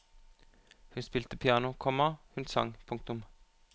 Hun spilte piano, komma hun sang. punktum